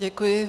Děkuji.